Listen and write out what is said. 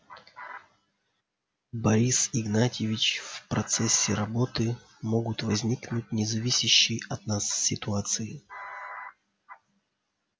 борис игнатьевич в процессе работы могут возникнуть независящие от нас ситуации